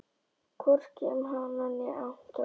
Hvorki um hana né Anton.